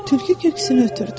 Tülkü köksünü ötürdü.